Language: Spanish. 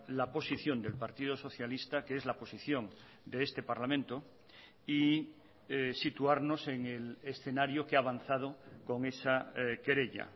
la posición del partido socialista que es la posición de este parlamento y situarnos en el escenario que ha avanzado con esa querella